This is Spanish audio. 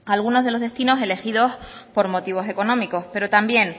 algunos de los destinos elegidos por motivos económicos pero también